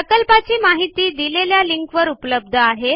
प्रकल्पाची माहिती दिलेल्या लिंकवर उपलब्ध आहे